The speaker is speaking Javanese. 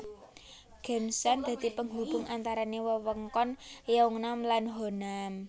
Geumsan dadi penghubung antarane wewengkon Yeongnam lan Honam